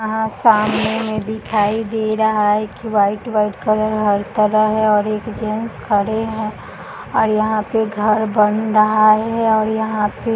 यहाँ सामने में दिखाई दे रहा है कि वाइट - वाइट कलर हर तरह है और एक जेंट्स खड़े है और यहाँ घर बन रहा है और यहाँ पे--